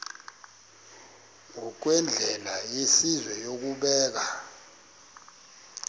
ngokwendlela yesizwe yokubeka